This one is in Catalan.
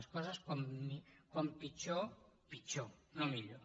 les coses com pitjor pitjor no millor